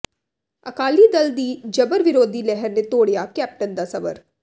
ਅਕਾਲੀ ਦਲ ਦੀ ਜਬਰ ਵਿਰੋਧੀ ਲਹਿਰ ਨੇ ਤੋੜਿਆ ਕੈਪਟਨ ਦਾ ਸਬਰ